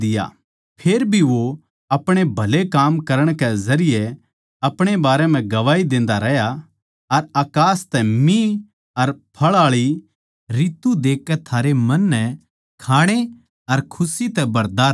फेर भी वो अपणे भले काम्मां के जरिये अपणे बारें म्ह गवाही देंदा रहया अर अकास तै मिह अर फळआळी ऋतु देकै थारै मन नै खाणे अर खुशी तै भरदा रहया